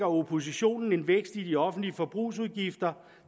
oppositionen en vækst i de offentlige forbrugsudgifter